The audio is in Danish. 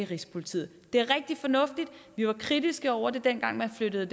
rigspolitiet det er rigtig fornuftigt vi var kritiske over for det dengang man flyttede